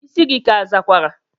Isi gi ka azakwara?